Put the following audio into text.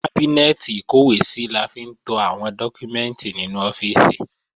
Kábínẹ́ẹ̀tì ìkọ́wèésí la fi ń to àwọn dọ́kúmẹ́ǹtì nínú ọ́fíìsì